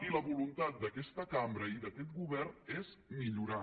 i la voluntat d’aquesta cambra i d’aquest govern és millorar